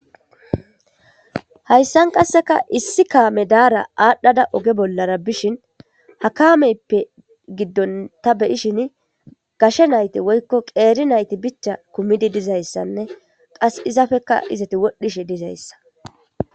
Hayssan qaseka issi kame dara adhada oge bollara bishin ha kameppe giddon ta be'ishin gashe nayti woykko qerri nayti bicha kumidi dizaysane qass izappeka izetti wodhishe dizayssa.